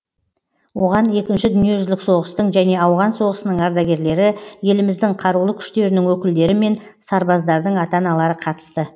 оған екінші дүниежүзілік соғыстың және ауған соғысының ардагерлері еліміздің қарулы күштерінің өкілдері мен сарбаздардың ата аналары қатысты